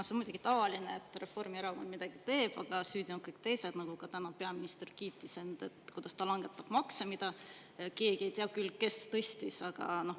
No see on muidugi tavaline, et Reformierakond midagi teeb, aga süüdi on kõik teised, nagu ka täna peaminister end kiitis, kuidas ta langetab makse – ega keegi ei tea küll, kes neid tõstis.